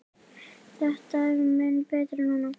Þetta er mun betra núna.